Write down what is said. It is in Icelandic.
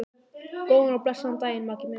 Góðan og blessaðan daginn, Maggi minn.